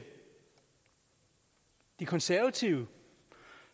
de konservative